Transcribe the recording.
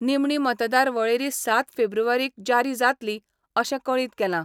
निमणी मतदार वळेरी सात फेब्रुवारीक ज्यारी जातली अशें कळीत केलां.